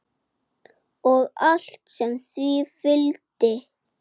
Og allt sem því fylgdi.